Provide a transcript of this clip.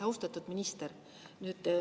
Austatud minister!